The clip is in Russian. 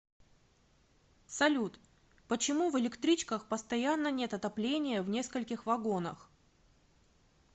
салют почему в электричках постоянно нет отопления в нескольких вагонах